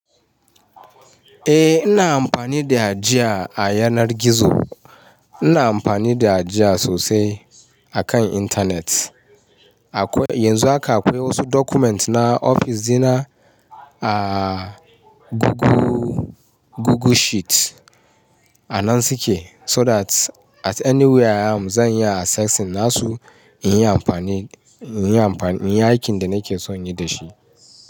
Eh ina amfani da ja a yanar gizo. Ina amfani da ja sosai akan Internet. Akwai, yanzu haka akwai wasu document na ofis dina a Google, Google Sheet. A nan suke so that at anywhere I am zan iya accessing nasu in yi amfani, in yi amfan, in yi aikin da nake so inyi da shi.